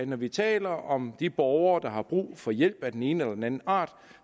når vi taler om de borgere der har brug for hjælp af den ene eller den anden art